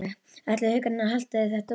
Ætli Haukarnir haldi þetta út?